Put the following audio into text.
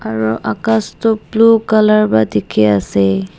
aru akas toh blue colour wa dikhi ase.